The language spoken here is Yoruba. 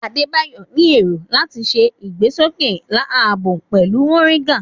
Adebayo ní èrògbà láti ṣe ìgbésókè ààbò pẹ̀lú moringa.